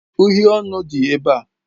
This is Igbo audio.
Uhiè ọnụ dị ebe a.